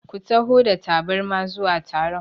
Ku taho da tabarma zuwa taron!